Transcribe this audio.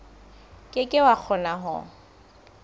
ke ke wa kgona ho